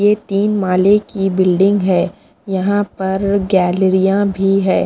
ये तीन माले की बिल्डिंग है यहाँ पर गैलरियाँ भी हैं।